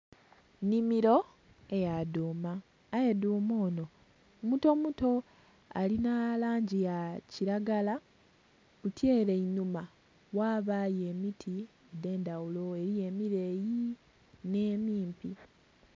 Nnhimiro yadhuma aye dhuma ono mutomuto alina langi yakiragala buti ere einhuma ghabayo emiti edhendhaghulo eriyo emireyii n'emimpi.